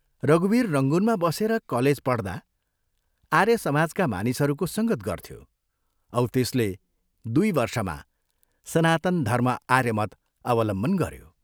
रघुवीर रंगूनमा बसेर कलेज पढ्दा आर्य समाजका मानिसहरूको संगत गर्थ्यो औ त्यसले दुइ वर्षमा सनातन धर्म आर्यमत अवलम्बन गऱ्यो।